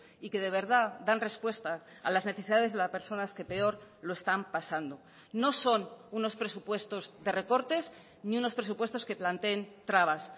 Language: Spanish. y que de verdad dan respuesta a las necesidades de las personas que peor lo están pasando no son unos presupuestos de recortes ni unos presupuestos que planteen trabas